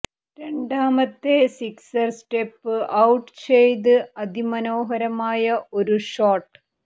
രണ്ടാമത്തെ sixer step out ചെയ്ത് അതി മനോഹരമായ ഒരു ഷോട്ട്